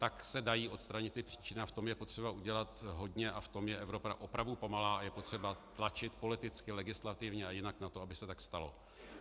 Tak se dají odstranit ty příčiny a v tom je potřeba udělat hodně a v tom je Evropa opravdu pomalá a je potřeba tlačit politicky, legislativně a jinak na to, aby se tak stalo.